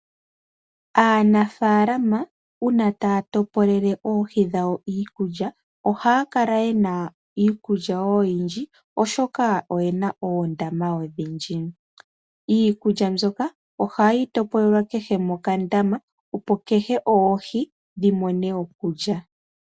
Aanafaalama uuna taya topolele oohi dhawo iikulya, ohaya kala yena iikulya oyindji, oshoka oyena oondama odhindji. Iikulya ohayi topolelwa kehe mokandama opo kehe oohi dhimone okulya.